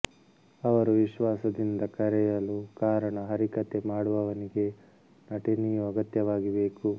ಅವರು ವಿಶ್ವಾಸದಿಂದ ಕರೆಯಲು ಕಾರಣ ಹರಿಕಥೆ ಮಾಡುವವನಿಗೆ ನಟನೆಯೂ ಅಗತ್ಯವಾಗಿ ಬೇಕು